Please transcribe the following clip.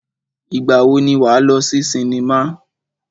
Ìgbà wo ni wà á lọ sí sinimá?